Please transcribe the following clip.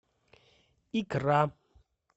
икра